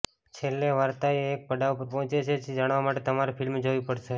છેલ્લે વાર્તાએ એક પડાવ પર પહોંચે છે જે જાણવા માટે તમારે ફિલ્મ જોવી પડશે